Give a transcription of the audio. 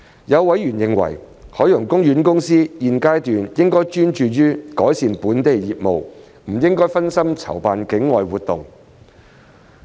有委員認為，海洋公園公司現階段應專注於改善本地業務，不應分心籌辦境外活動。